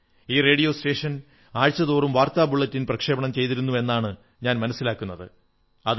ഈ radio station ആഴ്ചതോറും വാർത്താ ബുള്ളറ്റിൻ പ്രക്ഷേപണം ചെയ്തിരുന്നു എന്നാണ് ഞാൻ മനസ്സിലാക്കുന്നത്